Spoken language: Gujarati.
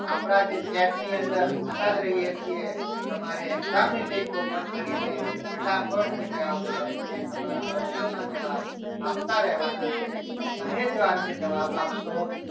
આપણા જે chat ની અંદર જોતા જ રહીએ છીએ તમારે exam ની લીંક open કરીને ફટાફટ જે કહેવામાં આવે છે એ તમારા પ્રશ્નોના જવાબ આપતા રહેવાના છે અને જો આ રીતે જવાબ આપશો.